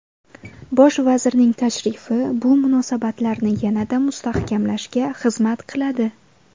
Bosh vazirning tashrifi bu munosabatlarni yanada mustahkamlashga xizmat qiladi.